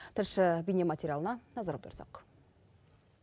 тілші бейнематериалына назар аударсақ